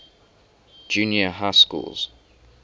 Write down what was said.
junior high schools